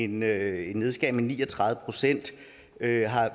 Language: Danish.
med ni og tredive procent det er